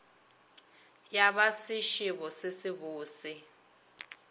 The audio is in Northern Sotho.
ya ba sešebo se sebose